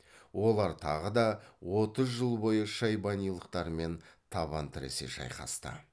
олар тағы да отыз жыл бойы шайбанилықтармен табан тіресе шайқасты